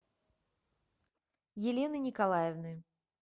елены николаевны